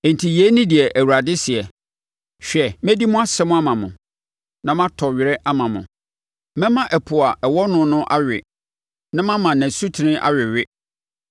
Enti yei ne deɛ Awurade seɛ: “Hwɛ, mɛdi mo asɛm ama mo na matɔ were ama mo; Mɛma ɛpo a ɛwɔ no no awe na mama ne asutene awewe.